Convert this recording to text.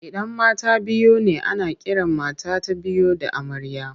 Idan mata biyu ne ana kiran mata ta biyu da amarya.